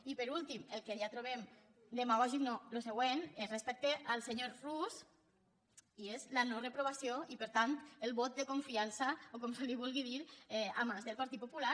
i per últim el que ja trobem demagògic no el següent és respecte al senyor rus i és la no reprovació i per tant el vot de confiança o com se li vulgui dir a mans del partit popular